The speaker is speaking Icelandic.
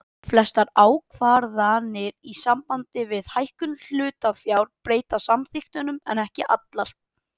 Flestar ákvarðanir í sambandi við hækkun hlutafjár breyta samþykktunum en ekki allar.